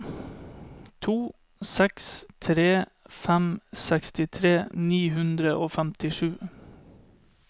to seks tre fem sekstitre ni hundre og femtisju